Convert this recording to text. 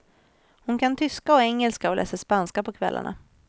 Hon kan tyska och engelska och läser spanska på kvällarna.